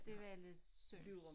Det var lidt synd